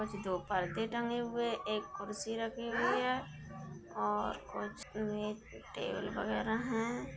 दो पर्दे टंगे हुए एक कुर्सी रखी हुए है और कुछ में टेबल वगैरा हैं।